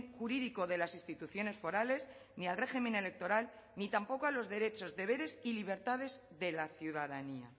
jurídico de las instituciones forales ni al régimen electoral ni tampoco a los derechos deberes y libertades de la ciudadanía